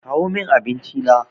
Kawo min abinci na!